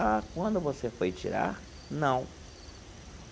Ah, quando você foi tirar, não.